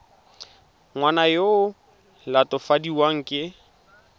ngwana yo o latofadiwang ka